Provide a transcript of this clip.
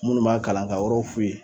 Munnu m'a kalan ka yɔrɔw f'u ye.